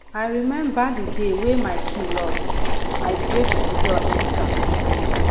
i rememba di day wey my key loss i break di door enta